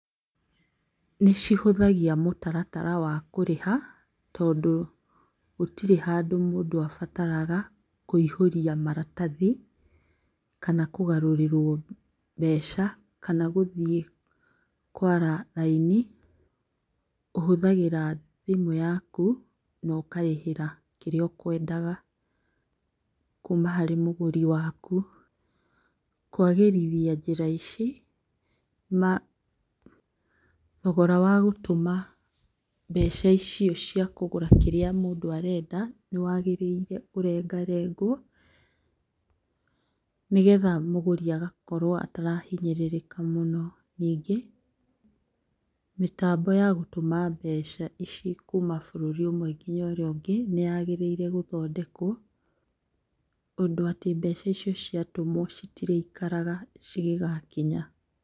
Nĩ cihũthagia mũtaratara wa kũrĩha tondũ gũtirĩ handũ mũndũ abataraga kũihũria maratathi, kana kũgarũrĩrwo mbeca, kana gũthiĩ kũara raini. Ũhũthagĩra thimũ yakũ na ũkarĩhĩra kĩrĩa ũkwendaga kuma harĩ mũgũri waku. Kwagĩrithia njĩra ici, thogora wa gũtũma mbeca icio cia kũgũra kĩrĩa mũndũ arenda, nĩwagĩrĩire ũrengarengwo nĩgetha mũgũri agakorwo atarahinyĩrĩrĩka mũno. Ningĩ, mĩtambo ya gũtũma mbeca ici kuma bũrũri ũmwe nginya ũrĩa ĩngĩ nĩyagĩrĩire gũthondekwo ũndũ atĩ mbeca icio ciatũmwo citirĩ ikaraga gũkinya ciatũmwo.